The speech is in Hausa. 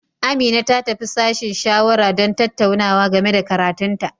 Amina ta tafi sashen shawara don tattaunawa game da karatun ta.